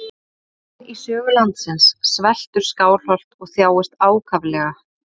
Í fyrsta sinn í sögu landsins sveltur Skálholt og þjáist ákaflega.